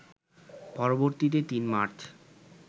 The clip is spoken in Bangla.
পরবর্তীতে ৩ মার্চ